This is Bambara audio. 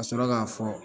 Ka sɔrɔ k'a fɔ